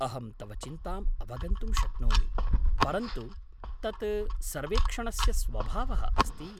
अहं तव चिन्ताम् अवगन्तुं शक्नोमि, परन्तु तत् सर्वेक्षणस्य स्वभावः अस्ति।